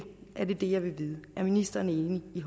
det jeg vil vide er ministeren enig i